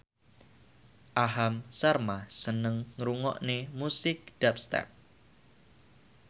Aham Sharma seneng ngrungokne musik dubstep